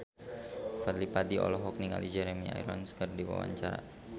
Fadly Padi olohok ningali Jeremy Irons keur diwawancara